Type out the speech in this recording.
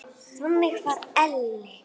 Þannig var Elli.